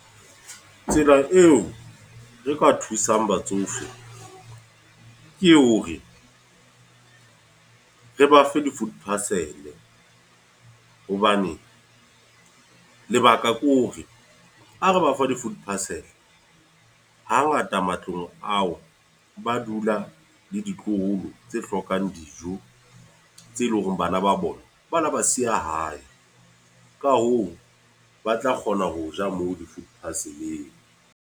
Tsela eo re ka thusang batsofe, ke hore re ba fe di-food parcel. Hobane lebaka ke hore hore, ha re bafa di-food parcel. Ha ngata matlong ao, ba dula le ditloholo tse hlokang dijo. Tse leng hore bana ba bona, ba la ba siya hae. Ka hoo, ba tla kgona ho ja moo di-food parcel-eng.